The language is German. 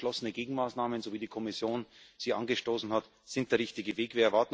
Und deswegen sind geschlossene Gegenmaßnahmen, so wie die Kommission sie angestoßen hat, der richtige Weg.